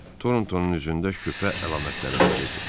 Torntonun üzündə şübhə əlamətləri gəzirdi.